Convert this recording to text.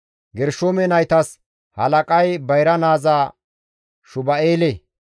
Gershoome naytas halaqay bayra naaza Shuba7eele.